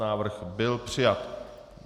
Návrh byl přijat.